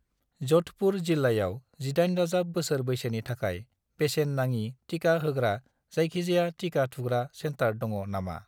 जधपुर जिल्लायाव 18+ बोसोर बैसोनि थाखाय बेसेन नाङि टिका होग्रा जायखिजाया टिका थुग्रा सेन्टार दङ नामा?